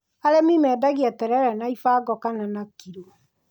Arĩmi mendagia terere na ibango kana na kiro.